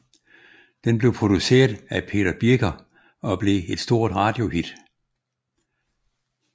Den blev produceret af Peter Biker og blev et stort radiohit